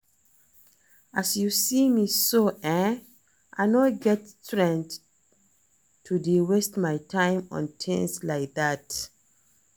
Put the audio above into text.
As you see me so eh I no get strength to dey waste my time on things like dat